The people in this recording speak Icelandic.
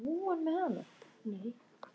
Varstu með henni í nótt þegar þú hvarfst?